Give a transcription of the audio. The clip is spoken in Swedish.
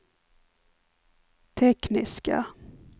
tekniska